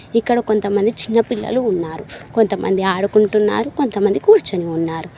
ఇక్కడ కొంతమంది చిన్నపిల్లలు ఉన్నారు కొంతమంది ఆడుకుంటున్నారు కొంతమంది కూర్చుని ఉన్నారు.